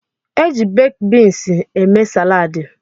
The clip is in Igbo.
Eji bakid beans eme salaadi.